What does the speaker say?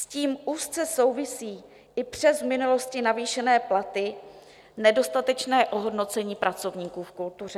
S tím úzce souvisí i přes v minulosti navýšené platy, nedostatečné ohodnocení pracovníků v kultuře.